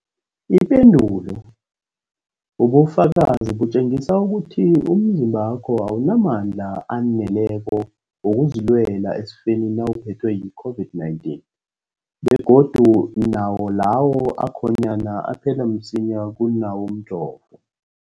Ipendulo, ubufakazi butjengisa ukuthi umzimbakho awunamandla aneleko wokuzilwela esifeni nawuphethwe yi-COVID-19, begodu nawo lawo akhonyana aphela msinyana kunawomjovo.